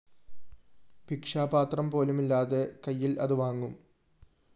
ഭിക്ഷാപാത്രം പോലുമില്ലാതെ കൈയില്‍ അതു വാങ്ങും